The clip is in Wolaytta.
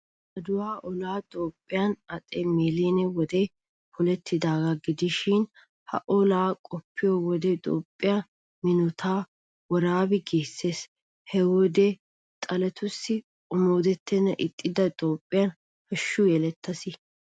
Adiwa olay Toophphiyan haxe Milile wode polettidaagaa gidishin, ha olaa qoppiyo wode Toophphee minotettaa woraabi giissees. He wodiyan Xaaletussi omooddettennan ixxida Toophpheen hashshu yelettaas.